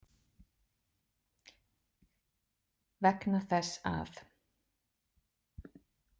Vegna þess að.